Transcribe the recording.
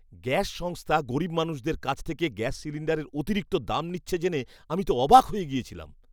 Gas সংস্থা গরীব মানুষদের কাছ থেকে গ্যাস সিলিন্ডারের অতিরিক্ত দাম নিচ্ছে জেনে আমি তো অবাক হয়ে গিয়েছিলাম।